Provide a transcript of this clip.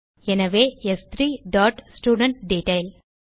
எனவே ஸ்3 dot student detail